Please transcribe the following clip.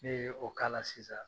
Ne ye o k'a la sisan.